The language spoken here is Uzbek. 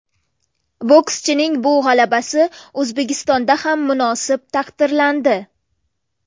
Bokschining bu g‘alabasi O‘zbekistonda ham munosib taqdirlandi.